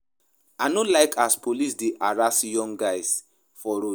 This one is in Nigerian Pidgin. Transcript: I no like as police dey harass young guys for road.